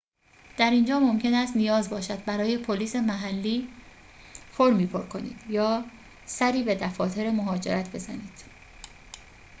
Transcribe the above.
در اینجا ممکن است نیاز باشد برای پلیس محلی فرمی پر کنید یا سری به دفاتر مهاجرت بزنید